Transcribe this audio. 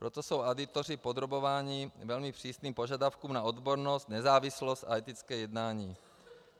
Proto jsou auditoři podrobováni velmi přísným požadavkům na odbornost, nezávislost a etické jednání.